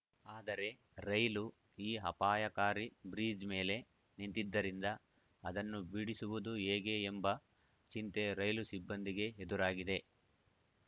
ಆದರೆ ರೈಲು ಈ ಅಪಾಯಕಾರಿ ಬ್ರಿಜ್‌ ಮೇಲೆ ನಿಂತಿದ್ದರಿಂದ ಅದನ್ನು ಬಿಡಿಸುವುದು ಹೇಗೆ ಎಂಬ ಚಿಂತೆ ರೈಲು ಸಿಬ್ಬಂದಿಗೆ ಎದುರಾಗಿದೆ